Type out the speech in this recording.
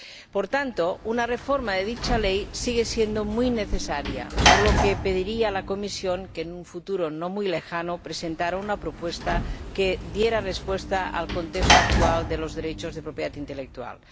Por tanto, una reforma de dicha ley sigue siendo muy necesaria, por lo que pediría a la Comisión que, en un futuro no muy lejano, presentara una propuesta que diera respuesta al contexto actual de los derechos de propiedad intelectual.